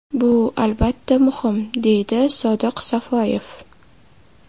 Bu, albatta, muhim”, deydi Sodiq Safoyev.